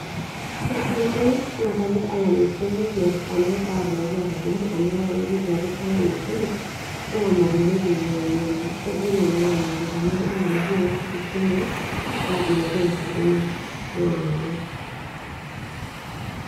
ore oshi nanu naa kapik alam esimu paa tumoki atudumu amu ore ake pee tuapik alam esimu naa matumoki naa anyio amu kegol oleng', neeku alam oshi nanu apik esimu.